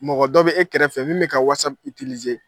Mɔgɔ dɔ bɛ e kɛrɛfɛ min bɛ ka